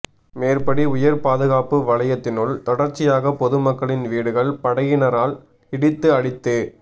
மேற்படி உயர்பாதுகாப்பு வலயத்தினுள் தொடர்ச்சியாக பொதுமக்களின் வீடுகள் படையினரால் இடித்து அழித்து